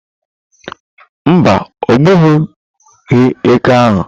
Mba, ogbughị eke ahụ.